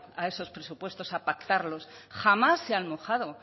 a esos presupuestos a pactarlo jamás se han mojado